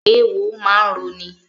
Eéwo máa ń roni.